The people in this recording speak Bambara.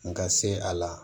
N ka se a la